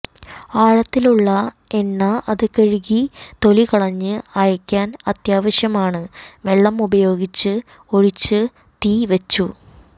ആഴത്തിലുള്ള എണ്ന അത് കഴുകി തൊലികളഞ്ഞത് അയയ്ക്കാൻ അത്യാവശ്യമാണ് വെള്ളം ഉപയോഗിച്ച് ഒഴിച്ചു തീ വെച്ചു